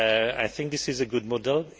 I think this is a good model.